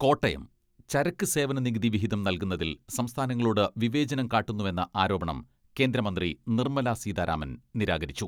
കോട്ടയം ചരക്ക് സേവന നികുതി വിഹിതം നൽകുന്നതിൽ സംസ്ഥാനങ്ങളോട് വിവേചനം കാട്ടുന്നുവെന്ന ആരോപണം കേന്ദ്ര മന്ത്രി നിർമ്മലാ സീതാരാമൻ നിരാകരിച്ചു.